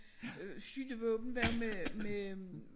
Øh skydevåben var med med